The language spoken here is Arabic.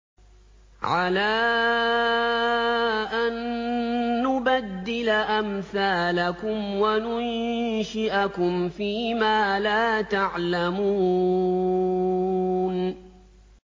عَلَىٰ أَن نُّبَدِّلَ أَمْثَالَكُمْ وَنُنشِئَكُمْ فِي مَا لَا تَعْلَمُونَ